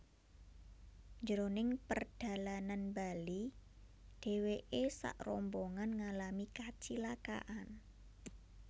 Jroning perdalanan bali dheweke sakrombongan ngalami kacilakan